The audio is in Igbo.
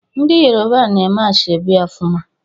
Ndị Yoruba na-eme ashọbi ofuma.